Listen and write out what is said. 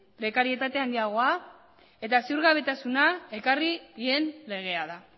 prekarietate handiagoa eta ziurgabetasuna ekarri dien legea da